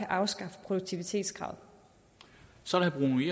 afskaffe produktivitetskravet og så